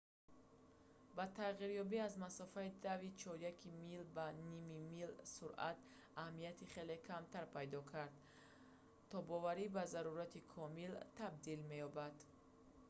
бо тағйирёбӣ аз масофаи дави чоряки мил ба ними мил суръат аҳамияти хеле камтар пайдо карда тобоварӣ ба зарурати комил табдил меёбад